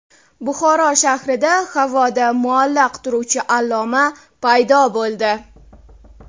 Buxoro shahrida havoda muallaq turuvchi alloma paydo bo‘ldi .